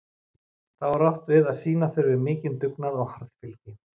Þá er átt við að sýna þurfi mikinn dugnað og harðfylgi.